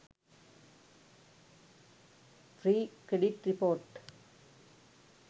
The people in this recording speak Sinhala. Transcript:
free credit report